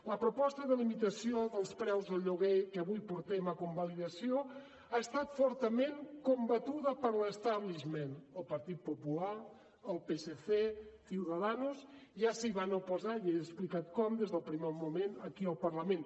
la proposta de limitació dels preus del lloguer que avui portem a convalidació ha estat fortament combatuda per l’danos ja s’hi van oposar ja he explicat com des del primer moment aquí al parlament